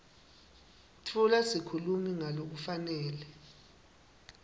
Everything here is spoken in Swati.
tfula sikhulumi ngalokufanele